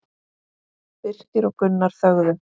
Birkir og Gunnar þögðu.